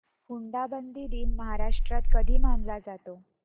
हुंडाबंदी दिन महाराष्ट्रात कधी मानला जातो